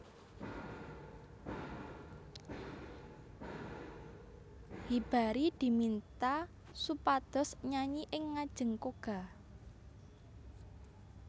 Hibari diminta supados nyanyi ing ngajeng Koga